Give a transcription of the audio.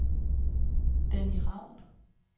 Danny Raun